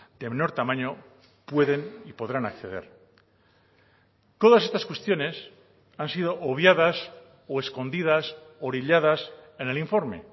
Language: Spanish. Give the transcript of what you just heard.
de menor tamaño pueden y podrán acceder todas estas cuestiones han sido obviadas o escondidas orilladas en el informe